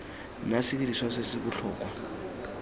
nna sediriswa se se botlhokwa